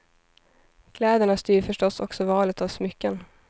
Kläderna styr förstås också valet av smycken.